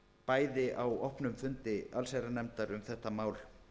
bæði á opnum fundi allsherjarnefndar um þetta mál